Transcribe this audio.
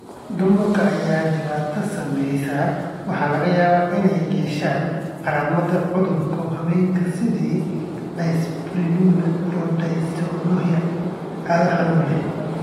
Dumarka ay dhibaatadu saameysey waxaa laga yaabaa inay yeeshaan calaamadaha cudurada haweenka sida dyspareunia iyo dysmenorrhea (cado xanuun leh).